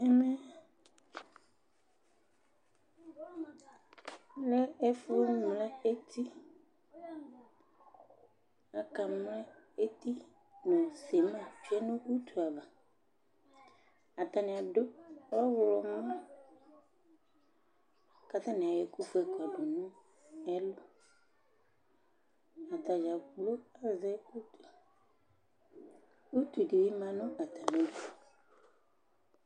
Ɛmɛ lɛ ɛfʋ wanɩ lɛ etiAkamlɛ eti nʋ sɩma tsue nʋ utu avaAtanɩ adʋ ɔɣlɔmɔ ,katanɩ ayɔ ɛkʋ fue kɔdʋ nʋ ɛlʋ